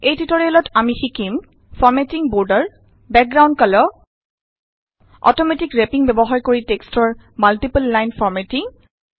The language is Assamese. এই টিউটৰিয়েলত আমি শিকিম formatting border background colour auto wrapping ব্যৱহাৰ কৰি টেক্সটৰ মাল্টিপল লাইন ফৰ্মেটিং